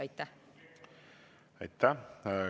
Aitäh!